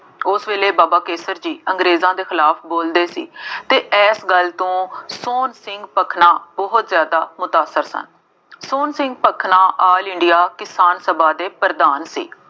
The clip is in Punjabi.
ਉਸ ਵੇਲੇ ਬਾਬਾ ਕੇਸਰ ਜੀ ਅੰਗਰੇਜ਼ਾਂ ਦੇ ਖਿਲਾਫ ਬੋਲਦੇ ਸੀ ਅਤੇ ਇਸ ਗੱਲ ਤੋਂ ਸੋਹਣ ਸਿੰਘ ਭਕਨਾ ਬਹੁਤ ਜ਼ਿਆਦਾ ਮੁਦਾਖਰ ਸਨ। ਸੋਹਣ ਸਿੰਘ ਭਕਨਾ ਆਲ ਇੰਡੀਆ ਕਿਸਾਨ ਸਭਾ ਦੇ ਪ੍ਰਧਾਨ ਸੀ।